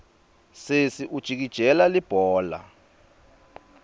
sesi ujikijela libhola